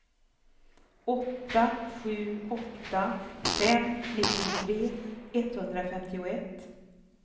åtta sju åtta fem nittiotre etthundrafemtioett